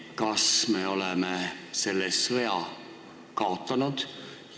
Kas me oleme selle sõja kaotanud?